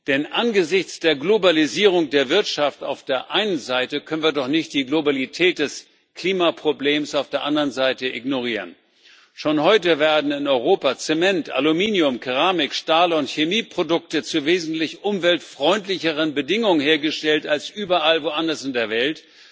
Denn angesichts der Globalisierung der Wirtschaft auf der einen Seite können wir doch nicht die Globalität des Klimaproblems auf der anderen Seite ignorieren. Schon heute werden in Europa Zement, Aluminium, Keramik, Stahl und Chemieprodukte zu wesentlich umweltfreundlicheren Bedingungen hergestellt als überall woanders in der Welt.